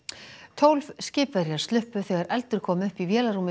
tólf skipverjar sluppu þegar eldur kom upp í vélarrúmi